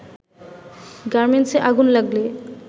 গার্মেন্টসে আগুন লাগলে